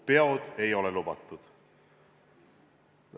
Peod ei ole lubatud.